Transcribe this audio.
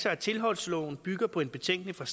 at tilholdsloven bygger på en betænkning fra